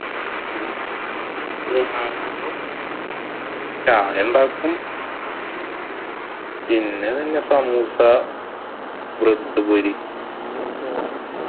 ഞാന് ചായ ഉണ്ടാക്കും. പിന്നെ സമൂസ, bread പൊരി,